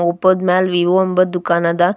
ಒಪ್ಪೋದ್ ಮ್ಯಾಲ್ ವಿವೋ ಎಂಬದ್ ದುಃಖನದ .